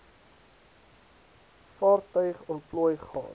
vaartuig ontplooi gaan